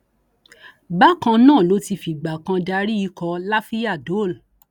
bákan náà ló ti fìgbà kan darí ikọ lafiya dole